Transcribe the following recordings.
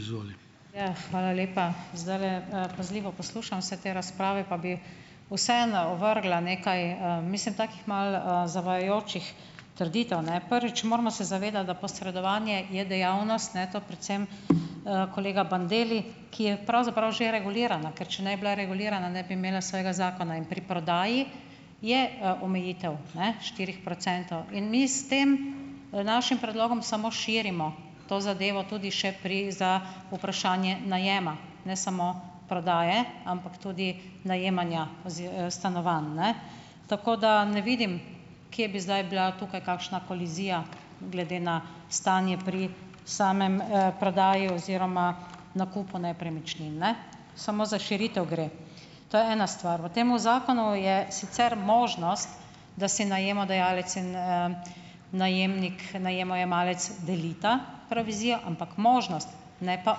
Izvoli. Ja, hvala lepa, zdajle, pazljivo poslušam vse te razprave pa bi vseeno ovrgla nekaj, mislim takih malo zavajajočih trditev, ne. Prvič moramo se zavedati, da posredovanje je dejavnost, ne, to predvsem, kolega Bandelli, ki je pravzaprav že regulirana, ker če ne bi bila regulirana, ne bi imela svojega zakona, in pri prodaji je, omejitev, ne, štirih procentov in mi s tem našim predlogom samo širimo to zadevo tudi še pri za vprašanje najema, ne samo prodaje, ampak tudi najemanja stanovanj, ne, tako da ne vidim, kje bi zdaj bila tukaj kakšna kolizija glede na stanje pri sami, prodaji oziroma nakupu nepremičnin, ne, samo za širitev gre, to je ena stvar. V tem zakonu je sicer možnost, da si najemodajalec in, najemnik, najemojemalec delita provizijo, ampak možnost, ne pa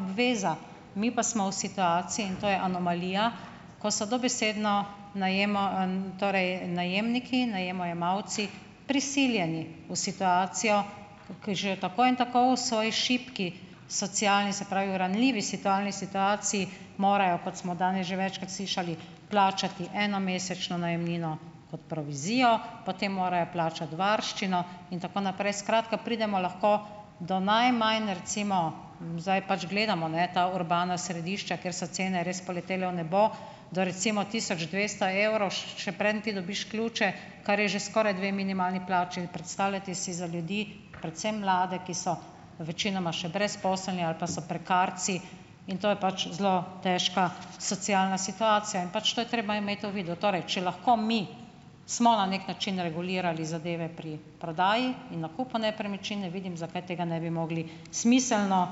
obveza, mi pa smo v situaciji in anomalija, ko so dobesedno torej najemniki, najemojemalci prisiljeni v situacijo, ki že tako in tako so i šibki, socialni, se pravi v ranljivi situalni situaciji, morajo, kot smo danes že večkrat slišali, plačati eno mesečno najemnino kot provizijo, potem morajo plačati varščino in tako naprej, skratka, pridemo lahko do najmanj recimo, zdaj, pač gledamo, ne, ta urbano središče, ker so cene res poletele v nebo, do recimo tisoč dvesto evrov, še preden ti dobiš ključe, kar je že skoraj dve minimalni plači, predstavljajte si za ljudi, predvsem mlade, ki so večinoma še brezposelni ali pa so prekarci, in to je pač zelo težka socialna situacija in pač to je treba imeti, to videti, torej če lahko mi smo na neki način regulirali zadeve pri prodaji in nakupu nepremičnine, vidim, zakaj tega ne bi mogli smiselno,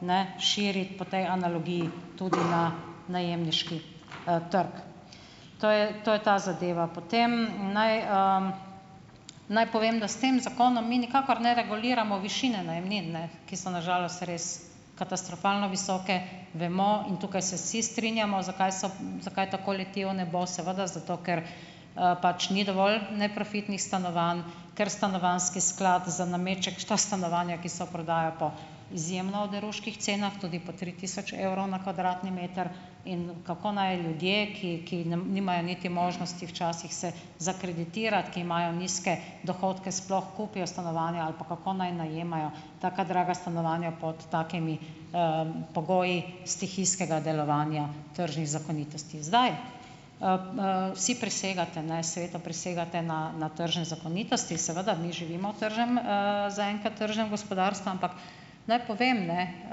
ne, širiti po tej analogiji tudi na najemniški, trg to je, to je za zadeva, potem naj, naj povem, da s tem zakonom mi nikakor ne reguliramo višine najemnin, ne, ki so na žalost res katastrofalno visoke, vemo, in tukaj se vsi strinjamo, zakaj so, zakaj ta kolektiv, ne, bo seveda zato, ker, pač ni dovolj neprofitnih stanovanj, ker stanovanjski sklad za nameček še ta stanovanja, ki so, prodaja po izjemno oderuških cenah tudi po tri tisoč evrov na kvadratni meter in kako naj ljudje, ki, ki nimajo niti možnosti včasih se zakreditirati, ki imajo nizke dohodke, sploh kupijo stanovanje ali pa kako naj najemajo taka draga stanovanja pod takimi, pogoji iz teh istega delovanja tržnih zakonitosti, zdaj, vsi prisegate, seveda, prisegate na na tržne zakonitosti, seveda mi živimo v tržnem, zaenkrat tržnem gospodarstvu, naj povem, ne,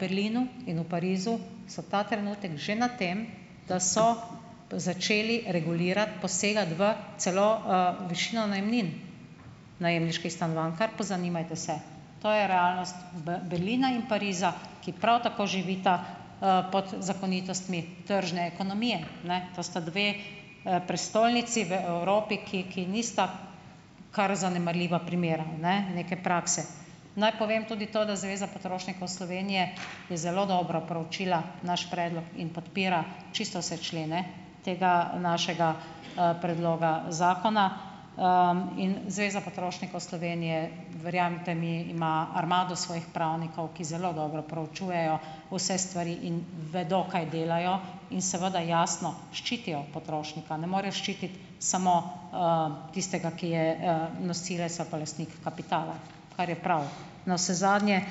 Berlinu in v Parizu so ta trenutek že na tem, da so začeli regulirati, posegati v celo, višino najemnin najemniških stanovanj, kar pozanimajte se, to je realnost Berlina in Pariza, ki prav tako živita, pod zakonitostmi tržne ekonomije, ne, to sta dve, prestolnici v Evropi, ki ki nista kar zanemarljiva primera, ne, neke prakse, naj povem tudi to, da Zveza potrošnikov Slovenije je zelo dobro preučila naš predlog in podpira čisto vse člene tega našega, predloga zakona, in Zveza potrošnikov Slovenije, verjemite mi, ima armado svojih pravnikov, ki zelo dobro preučujejo vse stvari in vedo, kaj delajo, in seveda jasno ščitijo potrošnika, ne morejo ščititi samo, tistega, ki je, nosilec ali pa lastnik kapitala, kar je prav navsezadnje,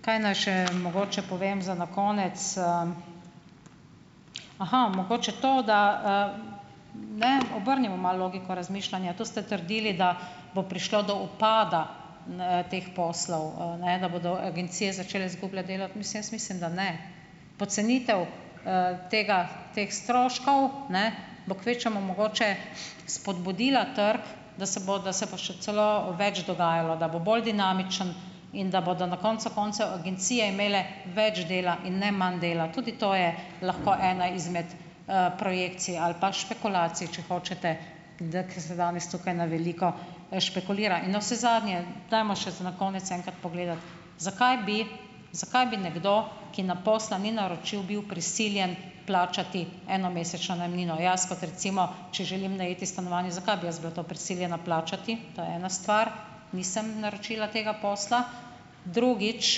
kaj naj še mogoče povem za na konec, Aha mogoče to, da, ne, obrnimo malo oviko razmišljanje, to ste trdili, da bo prišlo do upada, n, teh poslov, ne, da bodo agencije začele izgubljati delo, mislim, jaz mislim, da ne, pocenitev, tega teh stroškov, ne, bo kvečjemu mogoče spodbudila trg, da se bo, da se bo še celo več dogajalo, da bo bolj dinamičen in da bodo na koncu koncev agencije imele več dela in ne manj dela, tudi to je lahko ena izmed, projekcij ali pa špekulacij, če hočete, da ko se dam jaz tukaj na veliko, špekulira, navsezadnje dajmo še za na konec enkrat pogledati, zakaj bi zakaj bi nekdo, ki na posla ni naročil, bil prisiljen plačati eno mesečno najemnino. Jaz kot recimo, če želim najeti stanovanje, zakaj bi jaz bila to prisiljena plačati? To je ena stvar. Nisem naročila tega posla. Drugič,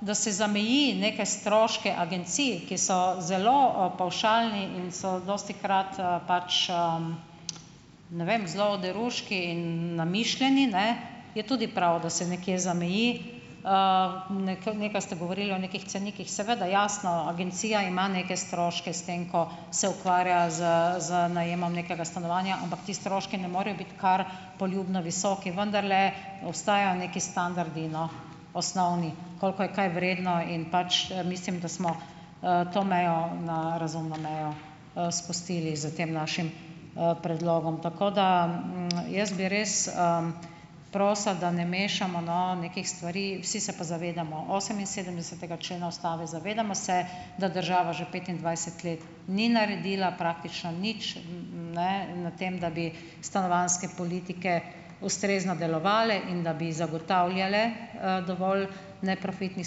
da se zameji neke stroške agencij, ki so zelo, pavšalni in so dostikrat, pač, ne vem, zelo oderuški in namišljeni, ne, je tudi prav, da se nekje zameji, ne, kar nekaj ste govorili o nekih cenikih, seveda, jasno agencija ima neke stroške s tem, ko se ukvarja z z najemom nekega stanovanja, ampak ti stroški ne morejo biti kar poljubno visoki, vendarle ostajajo neki standardi, no, osnovni, koliko je kaj vredno, in pač mislim, da smo, to mejo na razumno mejo, spustili d tem našim, predlogom, tako da jaz bi res, prosila, da ne mešamo, no, nekih stvari, vsi se pa zavedamo oseminsedemdesetega člena ustave, zavedamo se, da država že petindvajset let ni naredila praktično nič, ne, na tem, da bi stanovanjske politike ustrezno delovale in da bi zagotavljale, dovolj neprofitnih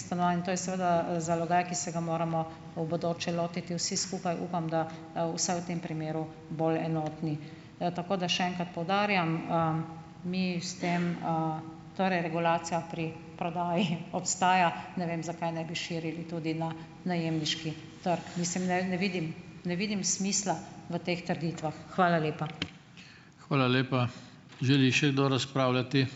stanovanj, to je seveda zalogaj, ki se ga moramo v bodoče lotiti vsi skupaj, upam, da, vsaj v tem primeru bolj enotni, tako da še enkrat poudarjam, mi s tem, torej regulacija pri prodaji obstaja, ne vem, zakaj ne bi širili tudi na najemniški trg, mislim, ne, ne vidim, ne vidim smisla v teh trgih. Hvala lepa. Hvala lepa. Želi še kdo razpravljati ...